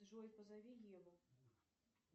джой позови еву